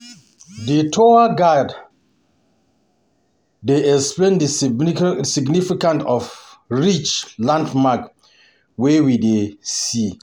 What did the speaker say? The tour guide The tour guide dey explain the significance of each landmark wey we dey see.